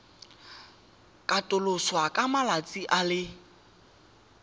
katoloswa ka malatsi a le